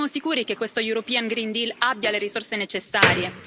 Ma siamo sicuri che questo European Green Deal abbia le risorse necessarie?